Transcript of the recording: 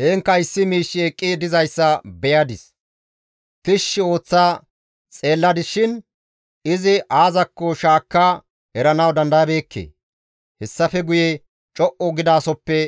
Heenkka issi miishshi eqqi dizayssa beyadis; tishshi ooththa xeelladis shin izi aazakko shaakka eranawu dandayabeekke. Hessafe guye co7u gidasohoppe